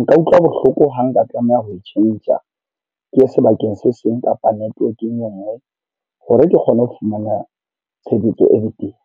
Nka utlwa bohloko ha nka tlameha ho e tjhentjha ke ye sebakeng se seng kapa network-eng e nngwe hore ke kgone ho fumana tshebetso e betere.